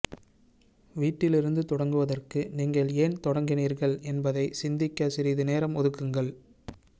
வீட்டிலிருந்து தொடங்குவதற்கு நீங்கள் ஏன் தொடங்கினீர்கள் என்பதை சிந்திக்க சிறிது நேரம் ஒதுக்குங்கள்